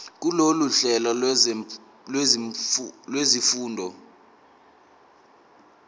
kulolu hlelo lwezifundo